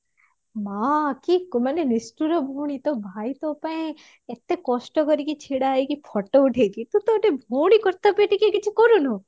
ମା କି ମାନେ ନିଷ୍ଠୁର ଭଉଣି ତୋ ଭାଇ ତା ପାଇଁ ଏତେ କଷ୍ଟ କରିକି ଛିଡା ହେଇକି photo ଉଠେଇକି ତତେ ଗୋଟେ ଘଉଣୀ କର୍ତ୍ତବ୍ୟ ତୁ ଟିକେ କରୁନୁ